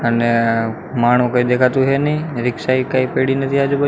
અને માણો કઈ દેખાતું હે ની ને રીક્ષા એ કઈ પઇડી નથી આજુબા--